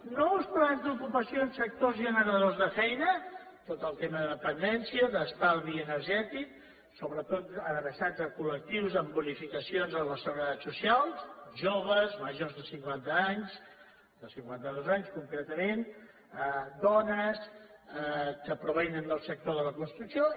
nous plans d’ocupació en sectors generadors de feina tot el tema de dependència d’estalvi energètic sobretot adreçats a col·lectius amb bonificacions a la seguretat social joves majors de cinquanta anys de cinquanta dos anys concretament dones els que provenen del sector de la construcció